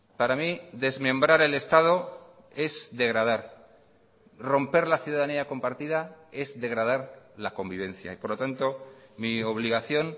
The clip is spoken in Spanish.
para mí desmembrar el estado es degradar romper la ciudadanía compartida es degradar la convivencia y por lo tanto mi obligación